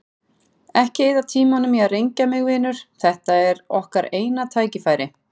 Ekki eyða tímanum í að rengja mig, vinur, þetta er okkar eina tækifærið.